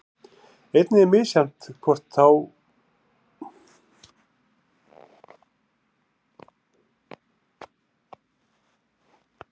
Einnig er misjafnt hvort og þá hvaða hópar sjúklinga njóta gjaldfrelsis í heilbrigðisþjónustunni.